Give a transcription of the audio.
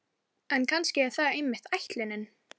En kannski er það einmitt ætlunin.